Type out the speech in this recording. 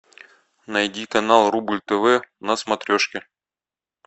найди канал рубль тв на смотрешке